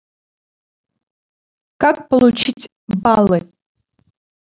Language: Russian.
как получить баллы